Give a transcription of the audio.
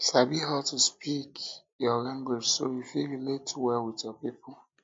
sabi how to speak how to speak your language so you fit relate well with your people